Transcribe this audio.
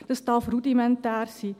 Das darf rudimentär sein.